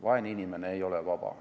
Vaene inimene ei ole vaba.